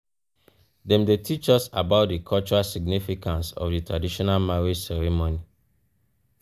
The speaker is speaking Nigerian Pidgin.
dem dey teach us about di cultural significance of di traditional marriage ceremony.